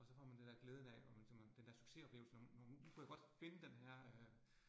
Og så får man det dér glæden af, og man så man, den dér succesoplevelse, når når man, nu kunne jeg godt finde denne her øh